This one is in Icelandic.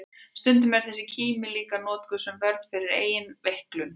Stundum er þessi kímni líka notuð sem vörn fyrir eigin veiklun.